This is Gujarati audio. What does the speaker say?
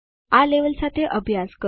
આ લેવલ સાથે અભ્યાસ કરો